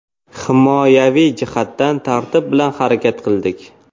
Himoyaviy jihatdan tartib bilan harakat qildik.